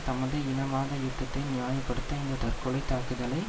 தமது இனவாத யுத்தத்தை நியாய படுத்த இந்த தற்கொலை தாக்குதலை